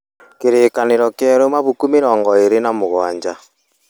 Kĩrĩkanĩro kĩerũ mabuku mĩrongo ĩrĩ na mũgwanja.